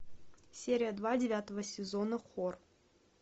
серия два девятого сезона хор